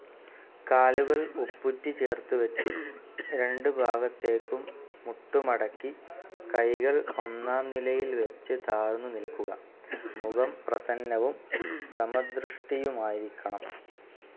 കാലുകൾ ഉപ്പുറ്റിച്ചേർത്ത് വച്ച്, രണ്ട് ഭാഗത്തേക്കും മുട്ടുമടക്കി കൈകൾ ഒന്നാം നിലയിൽ വച്ച് താഴ്ന്ന് നിൽക്കുക. മുഖം പ്രസന്നവും സമദൃഷ്ടിയുമായിരിക്കണം.